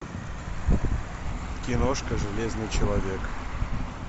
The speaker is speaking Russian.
киношка железный человек